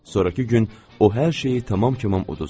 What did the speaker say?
Sonrakı gün o hər şeyi tamam kəmal uduzdu.